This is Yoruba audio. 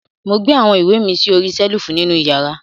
Mo gbé awọn iwe mi sí ọ̀rìṣèlúfù nínu ìyàrà.